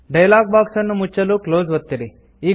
dialogue box ಅನ್ನು ಮುಚ್ಚಲು close ಒತ್ತಿರಿ